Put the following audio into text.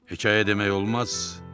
Hekayə demək olmaz.